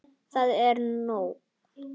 Það er nóg.